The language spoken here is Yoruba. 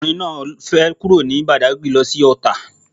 Ọkùnrin náà fẹ kúrò ní Badagry lo sí Ọ̀tà